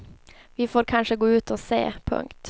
Vi får kanske gå ut och se. punkt